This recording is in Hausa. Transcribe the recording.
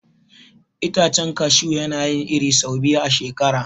Itacen kashu yana yin iri sau biyu a shekara.